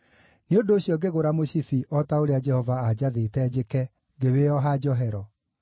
Nĩ ũndũ ũcio ngĩgũra mũcibi, o ta ũrĩa Jehova aanjathĩte njĩke, ngĩwĩoha njohero.